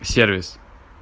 сервис